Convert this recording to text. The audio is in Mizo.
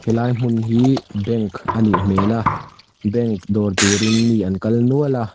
he lai hmun hi bank anih hmel a bank dawr tur in mi an kal nual a.